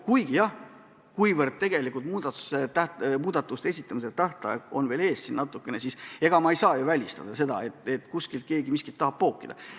Kuigi jah, muudatuste esitamise tähtaega on natukene veel ees ja ega ma ei saa ju välistada, et keegi miskit tahab juurde pookida.